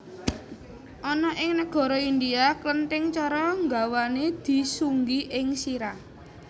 Ana ing nagara India klenthing cara nggawané disunggi ing sirah